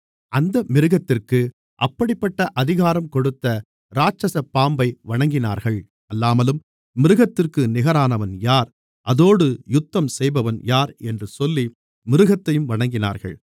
அந்த மிருகத்திற்கு அப்படிப்பட்ட அதிகாரம் கொடுத்த இராட்சசப் பாம்பை வணங்கினார்கள் அல்லாமலும் மிருகத்திற்கு நிகரானவன் யார் அதோடு யுத்தம் செய்பவன் யார் என்று சொல்லி மிருகத்தையும் வணங்கினார்கள்